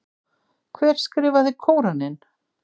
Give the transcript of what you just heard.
Hver skrifaði Kóraninn?